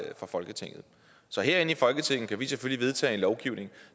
jo fra folketinget så herinde i folketinget kan vi selvfølgelig vedtage en lovgivning